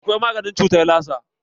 Akwai maganin cutar lasa.